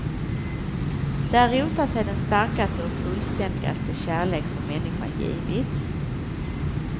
Där rotar sig den starkaste och fullständigaste kärlek som människan givits.